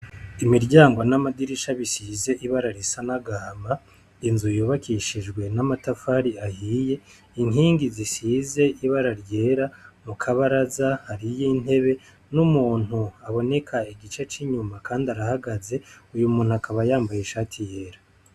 Imiryango n'amadirisha bisize ibara risa n'agahama, inzu yubakishijwe n'amatafari ahiye, inkingi zisize ibara ry'era. Mu kabaraza hariyo intebe n'umuntu aboneka igice c'inyuma kandi arahagaze, uyu muntu akaba yambaye ishati y'era.